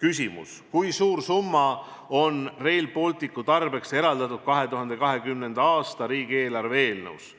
küsimus: kui suur summa on Rail Balticu tarbeks eraldatud 2020. aasta riigieelarve eelnõus?